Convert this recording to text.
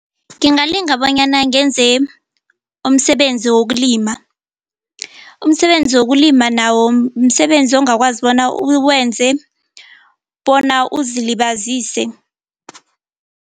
Ngingalinga bonyana ngenze umsebenzi wokulima. Umsebenzi wokulima nawo msebenzi ongakwazi bona uwenze bona uzilibazise.